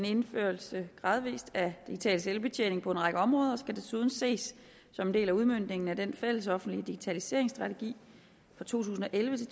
indførelse af digital selvbetjening på en række områder og skal desuden ses som en del af udmøntningen af den fællesoffentlige digitaliseringsstrategi to tusind og elleve